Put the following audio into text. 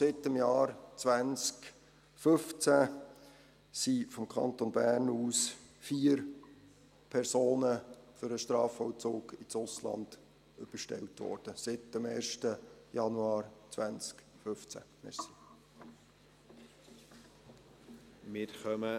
Seit dem Jahr 2015 wurden vom Kanton Bern aus vier Personen für den Strafvollzug ins Ausland überstellt, seit dem 1. Januar 2015.